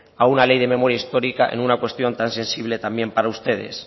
a una ley de memoria histórica en una cuestión tan sensible también para ustedes